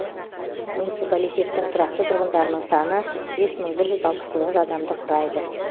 муниципалитеттің тұрақты тұрғындарының саны бес мың бір жүз алпыс тоғыз адамды құрайды